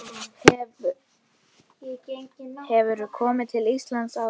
Hefurðu komið til Íslands áður?